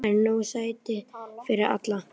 Þar eru nóg sæti fyrir alla.